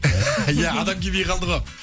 иә адам келмей қалды ғой